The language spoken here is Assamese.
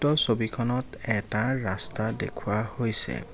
উক্ত ছবিখনত এটা ৰস্তা দেখুওৱা হৈছে।